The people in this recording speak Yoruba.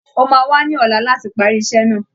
Ó máa wá ní ọ̀la láti parí iṣẹ́ náà